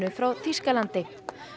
frá Þýskalandi